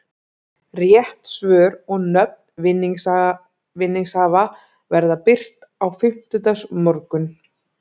Rétt svör og nöfn vinningshafa verða birt á fimmtudagsmorgun.